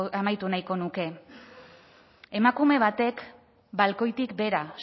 amaitu nahiko nuke emakume batek balkoitik behera